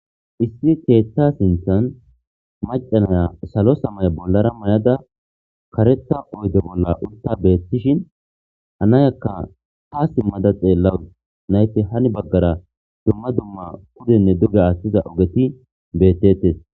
issi keeththa sinthan maca naya salo samaya bollara mayada karetha oyde bolla uta beettishin hanayakka haa simada xelawus, nayte hani baggara dumma dumma pudenne duge aathtiza ogeti bettetes